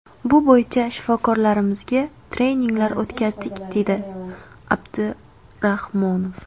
Bu bo‘yicha shifokorlarimizga treninglar o‘tkazdik”, deydi Abdurahmonov.